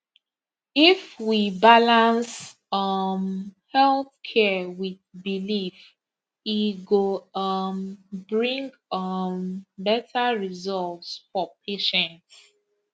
if we balance um health care with belief e go um bring um better results for patients